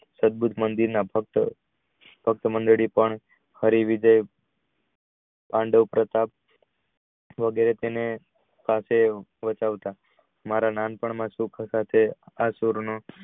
સત મંદિરે ના ભક્ત હરિ રીતે પાંડવ પ્રતાપ વગેરે તેની સાથે ભજવતા મારા નાનપણ માં